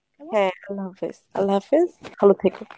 হ্যাঁ, আল্লা হাফিজ, ভালো থেকো